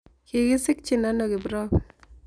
Kigisikchin ano kiprop